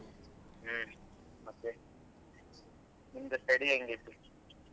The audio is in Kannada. ಹಾ ಮತ್ತೆ ನಿಂದ್ study ಹೆಂಗಾಯ್ತು?